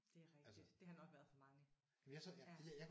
Det er rigtig. Det har nok været for mange ja